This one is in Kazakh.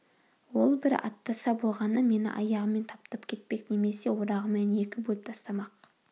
ол бір аттаса болғаны мені аяғымен таптап кетпек немесе орағымен екі бөліп тастамақ